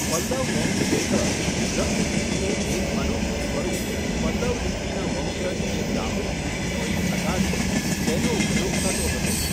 પલ્લવ વંશ હેઠળ, ગ્રંથ લિપિનું એક અનોખું સ્વરૂપ, પલ્લવ લિપિના વંશજ જે બ્રાહ્મિક લિપિનો એક પ્રકાર છે, તેનો ઉપયોગ થતો હતો.